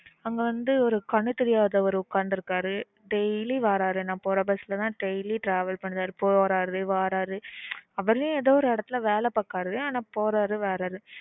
அங்க வந்து ஒரு கண்ணு தெரியாதவர் ஒக்காந்துருப்பாரு daily வராரு நான் போற bus ல தான் daily travel பண்ணுறாரு போறாரு வாராரு அவரே ஏதோ ஒரு எடத்துல வேல பாக்குறாரு ஆனா போறாரு வாராரு